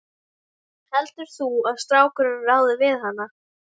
Heldur þú að strákurinn ráði við hana?